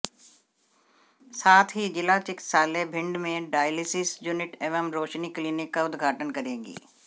साथ ही जिला चिकित्सालय भिण्ड में डायलिसिस यूनिट एवं रोशनी क्लीनिक का उदघाटन करेगी